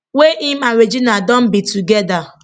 wey im and regina don be togeda